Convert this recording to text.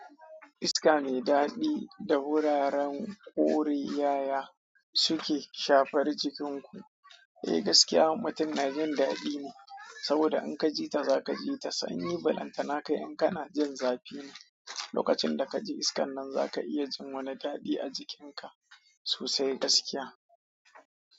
Iska mai dadi da wuraren ƙore yaya suke shafar jikinku? Eh, gaskiya, mutum na jin dadi ne saboda in ka ji ta za ka ji ta sanyi. Balantana kai in kana jin zafi ne lokacin da ka ji iskan nan, za ka iya jin wani dadi a jikinka sosai gaskiya.